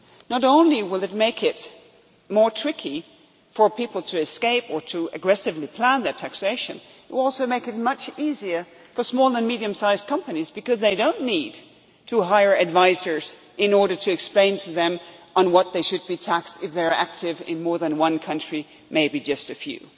base. Not only will this make it more tricky for people to escape or to aggressively plan their taxation, but also it will make it much easier for small and medium sized companies because they do not need to hire advisers in order to explain to them what they should be taxed on if they are active in more than one country, maybe just